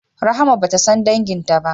Rahama bata san danginta ba